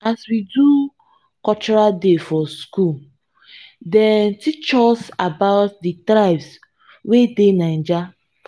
as we do cultural day for skool dem teach us about di tribes wey dey naija.